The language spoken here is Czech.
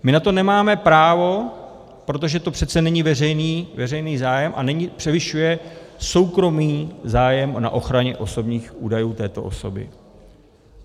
My na to nemáme právo, protože to přeci není veřejný zájem a převyšuje soukromý zájem na ochraně osobních údajů této osoby.